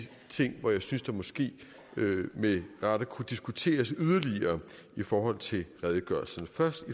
ting hvor jeg synes der måske med rette kunne diskuteres yderligere i forhold til redegørelserne først